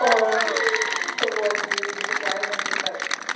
понятно вот и буквально где-то